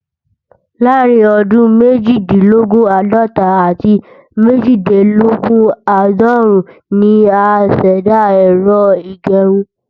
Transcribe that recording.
Láàárín ọdún méjìdínlógún- àádọ́ta àti méjìdínlógún-àádọ́rún ni a ṣẹ̀dá Ẹ̀rọ ìgẹrun